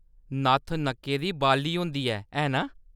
नत्थ नक्कै दी बाली होंदी ऐ, है ना ?